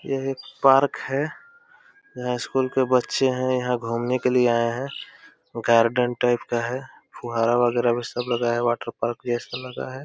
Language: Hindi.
यह एक पार्क है। यहाँ स्कूल के बच्चे है। यहाँ घूमने के लिए आए हैं। गार्डन टाइप का है। फुहारा वगैरह भी सब लगाया है। वाटरपार्क जैसा लगा है।